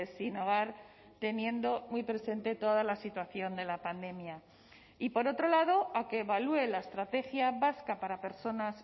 sin hogar teniendo muy presente toda la situación de la pandemia y por otro lado a que evalúe la estrategia vasca para personas